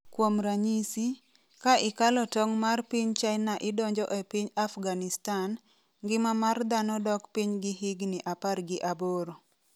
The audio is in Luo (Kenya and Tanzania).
Kuom ranyisi, ka ikalo tong' mar piny China idonjo e piny Afghanistan, ngima mar dhano dok piny gi higni 18.